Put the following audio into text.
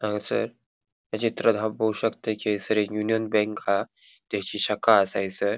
हांगासर या चित्रांत हांव पोळो शकता कि येसर एक यूनियन बैंक हा तिची शाखा असा हयसर.